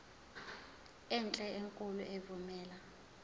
enhle enkulu evumela